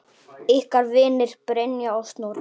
Ykkar vinir, Brynja og Snorri.